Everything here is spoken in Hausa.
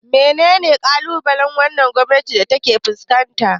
Wane kalubale wannan gwamnati ta ke fuskanta?